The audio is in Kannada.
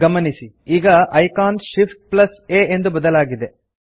ಗಮನಿಸಿ ಈಗ ಐಕಾನ್ ShiftA ಎಂದು ಬದಲಾಗಿದೆ